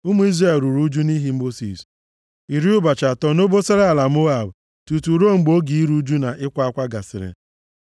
Ụmụ Izrel ruru ụjụ nʼihi Mosis, iri ụbọchị atọ nʼobosara ala Moab, tutu ruo mgbe oge iru ụjụ na ịkwa akwa gasịrị.